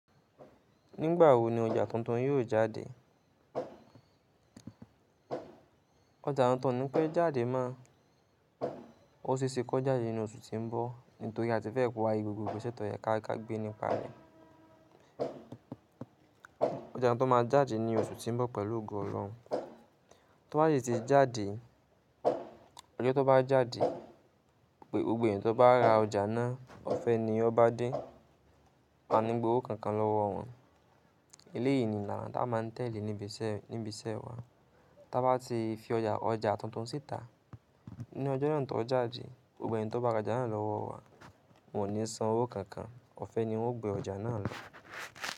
Nígbà wo ni ọjà tuntun yóò jáde? Ọjà tuntun o ni pẹ́ jáde mo. Ó ṣe é ṣe kó jáde ní oṣù tí ń bọ̀, nítorí a ti fẹ́ pari gbogbo ìgbésẹ̀ tọ̀ yẹ káàkà gbé nípa rẹ̀. Ọjà tuntun máa jáde ní oṣù tí ń bọ̀ pẹ̀lú ògo ọ̀lohun. Tó bá sì ti jáde, ọjọ́ tó bá jáde, gbogbo èèyàn tó bá ra ọjà náà, ọ̀fẹ́ ni ọ́ bá dé, a ní gbò ó kankan lọ́wọ́ wọn. Ilé yìí ni làna tá a máa tẹ́lẹ̀ níbi iṣẹ́ wa. Tá a bá ti fi ọjà tuntun síta, ní ọjọ́ náà tó jáde, gbogbo èèyàn tó bá ra ọjà náà lọ́wọ́ wa, wọn ò ní san owó kankan, ọ̀fẹ́ ni wọ́n gbé ọjà náà lọ.